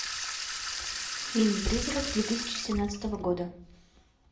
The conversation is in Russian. фильм призрак две тысячи семнадцатого года